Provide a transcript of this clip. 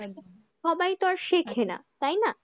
সবাই তো আর শেখে না তাই না?